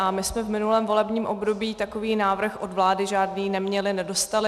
A my jsme v minulém volebním období takový návrh od vlády žádný neměli, nedostali.